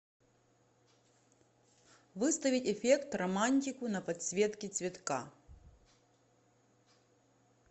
выставить эффект романтику на подсветке цветка